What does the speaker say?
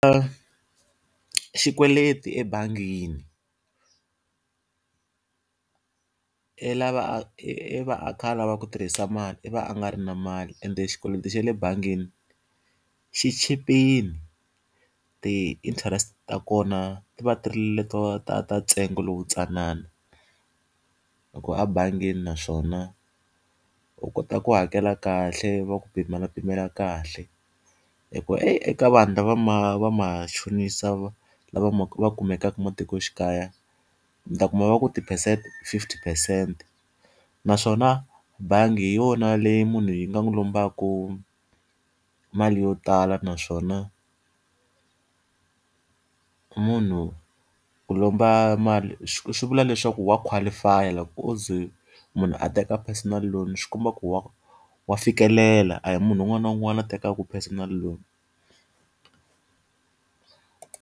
xikweleti ebangini i lava a i i va a kha a lava ku tirhisa mali i va a nga ri na mali ende xikweleti xa le bangini xi chipile, ti-interest ta kona ti va ti ri leto ta ta ntsengo lowuntsanana. Hikuva abangeni naswona, u kota ku hakela kahle va ku pimelapimela kahle. Hikuva eyi eka vanhu lava va machonisa lava va kumekaka matikoxikaya, mi ta kuma va ku ti-percent fifty phesente. Naswona bangi hi yona leyi munhu yi nga n'wi lombaka mali yo tala naswona munhu u lomba mali swi vula leswaku wa qualify-a. Loko o ze munhu a teka personal loan swi komba ku wa wa fikelela, a hi munhu un'wana na un'wana a tekaka personal loan ku.